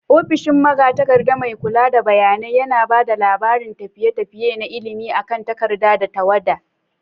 Ofishin magatakarda, mai kula da bayanai, yana ba da labarin tafiye-tafiye na ilimi akan takarda da tawada.